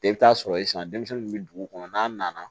I bɛ taa sɔrɔ sisan denmisɛnnin min bɛ dugu kɔnɔ n'a nana